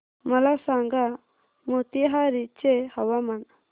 मला सांगा मोतीहारी चे हवामान